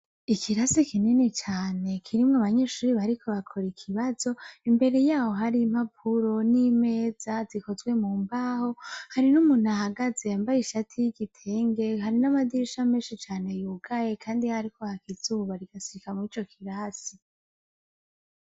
Ikirasi kinini cane kirimwo abanyeshure bariko bakora ikibazo , imbere yaho hari impapuro n'imeza zikozwe mumbaho, hari n'umuntu ahagaze yambaye ishati y'igitenge, hari n'amadirisha menshi cane yugaye kandi hariko haka izuba rigashika mwico kirasi .